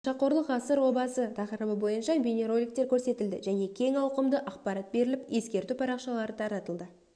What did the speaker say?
нашақорлық ғасыр обасы тақырыбы бойынша бейнероликтер көрсетілді және кең ауқымды ақпарат беріліп ескерту парақшалары таратылды